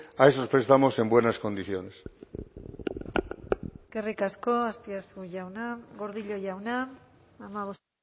a esos prestamos en buenas condiciones eskerrik asko azpiazu jauna gordillo jauna hamabost